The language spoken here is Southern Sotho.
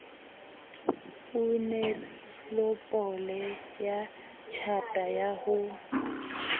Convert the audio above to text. onelopele ya tjhata ya ho